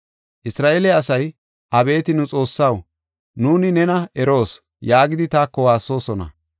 Isra7eele asay, ‘Abeeti nu Xoossaw, nuuni nena eroos’ yaagidi taako waassoosona.